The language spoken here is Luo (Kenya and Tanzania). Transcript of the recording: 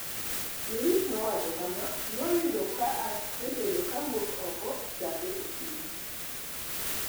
Luis nowacho kama: "Ne oyudo asebedo ka awuok oko chakre okinyi.